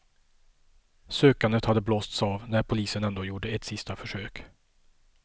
Sökandet hade blåsts av, när polisen ändå gjorde ett sista försök.